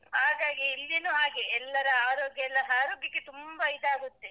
ಹಾಗಾಗಿ ಇಲ್ಲಿನೂ ಹಾಗೆ, ಎಲ್ಲರ ಆರೋಗ್ಯ ಎಲ್ಲ ಹಾಳು ಬಿಸಿ ತುಂಬ ಇದಾಗುತ್ತೆ.